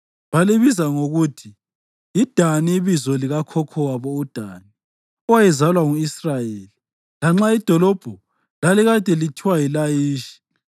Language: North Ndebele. Balibiza ngokuthi yiDani ibizo likakhokho wabo uDani, owayezalwa ngu-Israyeli, lanxa idolobho lalikade lithiwa yiLayishi.